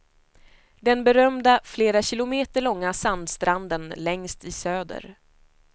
Den berömda flera kilometer långa sandstranden längst i söder.